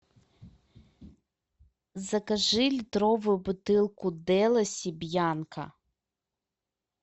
закажи литровую бутылку деласи бьянко